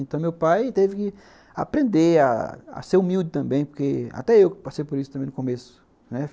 Então, meu pai teve que aprender a ser humilde também, porque até eu passei por isso também no começo, né.